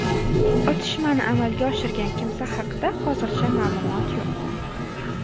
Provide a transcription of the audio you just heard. Otishmani amalga oshirgan kimsa haqida hozircha ma’lumot yo‘q.